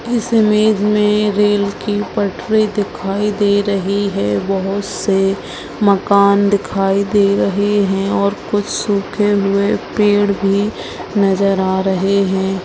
इस इमेज मे रेल की पटरी दिखाई दे रही है बहुत से मकान दिखाई दे रहे है और कुछ सूखे हुए पेड़ भी नजर आ रहे रहे हैं।